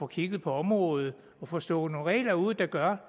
kigge på området og få stukket nogle regler ud der gør